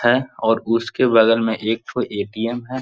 है और उसके बगल में एकठो ए.टी.एम. है।